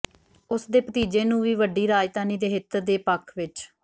ਉਸ ਦੇ ਭਤੀਜੇ ਨੂੰ ਵੀ ਵੱਡੀ ਰਾਜਧਾਨੀ ਦੇ ਹਿੱਤ ਦੇ ਪੱਖ ਵਿਚ